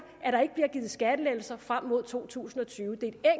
at der ikke bliver givet skattelettelser frem mod 2020 det er